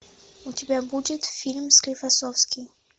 у тебя будет фильм склифосовский